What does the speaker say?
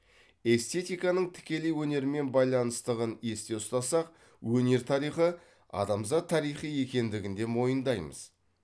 эстетиканың тікелей өнермен байланыстығын есте ұстасақ өнер тарихы адамзат тарихы екендігін де мойындаймыз